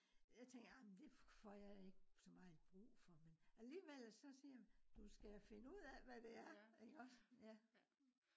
jeg tænker amen det for jeg ikke så meget brug for men alligevel så siger man du skal finde ud af hvad det er iggås